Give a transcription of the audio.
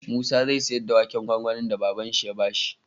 Musa zai siyar da waken gwangwanin da baban shi ya bashi